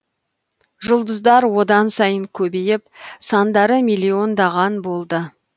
жұлдыздар одан сайын көбейіп сандары миллиондаған болды